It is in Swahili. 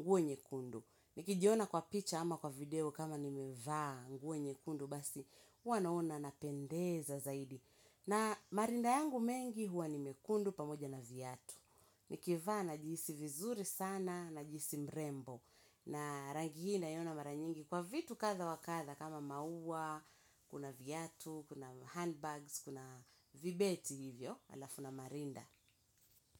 nguwe nyekundu. Nikijiona kwa picha ama kwa video kama nimevaa nguo nyekundu basi huwa naona napendeza zaidi. Na marinda yangu mengi huwa nimekundu pamoja na vyatu. Nikivaa najihisi vizuri sana najihisi mrembo. Na rangi naiona mara nyingi kwa vitu kadha wa kadha kama maua, kuna viatu, kuna handbags, kuna vibeti hivyo alafu na marinda.